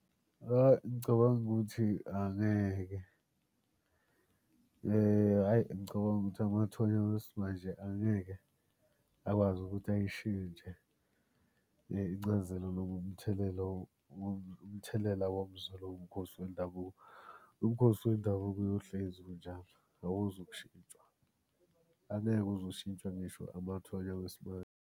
Hhayi ngicabanga ukuthi angeke hhayi ngicabanga ukuthi amathonya wesimanje angeke akwazi ukuthi ayishintshe incazelo noma umthelela umthelela womzwelo womkhosi wendabuko. Umkhosi wendabuko uyohlezi unjalo, awuzukushintshwa. Angeke uze ushintshwe ngisho amathonya wesibali.